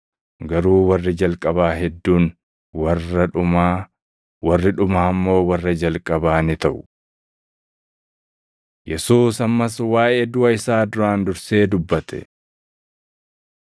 Garuu warri jalqabaa hedduun warra dhumaa, warri dhumaa immoo warra jalqabaa ni taʼu.” Yesuus Ammas Waaʼee Duʼa Isaa Duraan Dursee Dubbate 10:32‑34 kwf – Mat 20:17‑19; Luq 18:31‑33